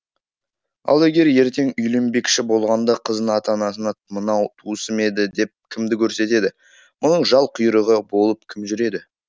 ал егер ертең үйленбекші болғанда қыздың ата анасына мынау туысым еді деп кімді көрсетеді мұның жал құйрығы болып кім жүреді